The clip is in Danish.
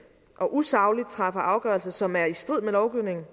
og usagligt træffer afgørelser som er i strid med lovgivningen